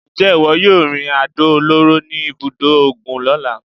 Ǹjẹ́ ìwọ yóò yin àdó olóró ní ibùdó ogun lọ́la?